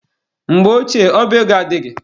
Mgbe ochie, ọba ego adịghị.